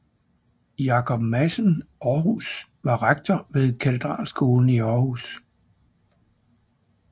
Jakob Madsen Aarhus var rektor ved katedralskolen i Århus